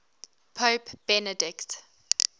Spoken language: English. pope benedict